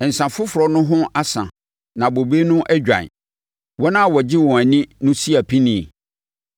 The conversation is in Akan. Nsa foforɔ no ho asa na bobe no adwan; wɔn a wɔgye wɔn ani no si apinie.